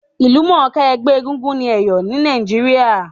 Ìlúmònká ẹgbẹ́ egúngún ni Èyò ni Naíjiria